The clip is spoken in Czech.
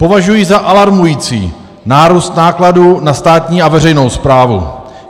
Považuji za alarmující nárůst nákladů na státní a veřejnou správu.